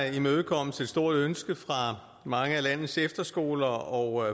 imødekommes et stort ønske fra mange af landets efterskoler og